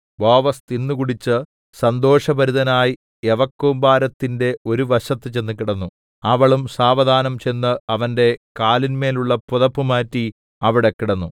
ബോവസ് തിന്ന് കുടിച്ച് സന്തോഷഭരിതനായി യവക്കൂമ്പാരത്തിന്റെ ഒരു വശത്ത് ചെന്ന് കിടന്നു അവളും സാവധാനം ചെന്ന് അവന്റെ കാലിന്മേലുള്ള പുതപ്പ് മാറ്റി അവിടെ കിടന്നു